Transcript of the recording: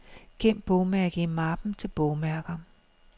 Gem bogmærke i mappen til bogmærker.